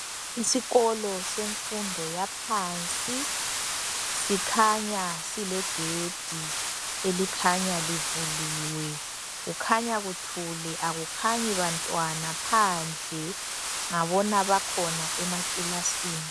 Isikolo asemfundo yaphansi sikhanya silegedi elikhanya livuliwe kukhanya kuthule akukhanyi bantwana phandle ngabona bakhona emakilasini.